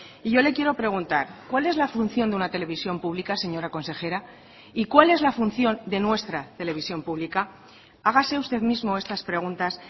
y yo le quiero preguntar cuál es la función de una televisión pública señora consejera y cuál es la función de nuestra televisión pública hágase usted mismo estas preguntas